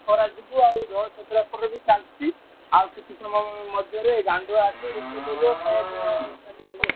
ଖରା ଯୋଗୁ ଆଉ ଜଳଛତ୍ର ଖୋଲା ବି ଚାଲିଛି ଆଉ କିଛି ସମୟ ମଧ୍ୟରେ ଗାଣ୍ଡୁଆ ଆସିବ ରୋଷେଇ କରିବ ଖାୟା ପିୟା ସେଇଠୁ ହବ ଆଉ।